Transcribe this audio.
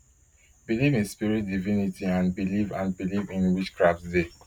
belief in spirit divinity and believe and believe in witchcraft dey